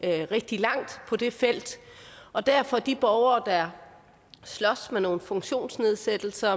rigtig langt på det felt og derfor at de borgere der slås med nogle funktionsnedsættelser